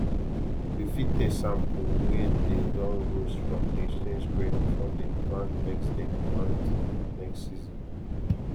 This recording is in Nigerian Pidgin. you fit taste sample wey dey don roast from exchanged grain before dem plant next dem plant next season